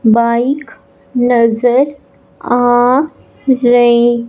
bike नजर आ रही--